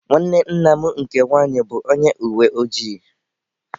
Nwanne nna m nke nwaanyị bụ onye uweojii.